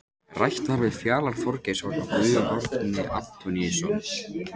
Rætt var við Fjalar Þorgeirsson og Guðjón Árni Antoníusson.